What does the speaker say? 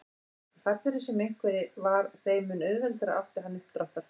Því fallegri sem einhver var þeim mun auðveldara átti hann uppdráttar.